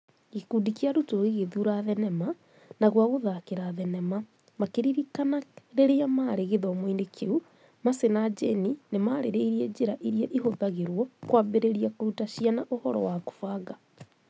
"Gĩkundi kĩa arutwo gĩgĩthura thenema na gwagũthakĩra thenema makĩririkana rĩrĩa marĩ gĩthomo-inĩ kĩu, Mercy na Jane nĩ maarĩrĩirie njĩra iria ihũthagĩrũo kwambĩrĩri kũruta ciana ũhoro wa kũbanga